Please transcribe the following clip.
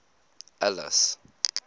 alice